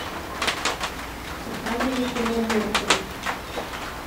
показывай кино морган